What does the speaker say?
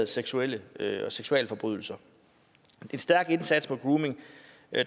seksuelle seksuelle forbrydelser en stærk indsats mod grooming